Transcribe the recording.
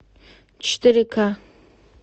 четыре ка